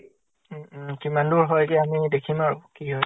উম উম। কিমান দূৰ হয়গে আমি দেখিম আৰু কি হয়